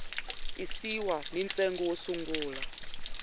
tisiwa ni ntsengo wo sungula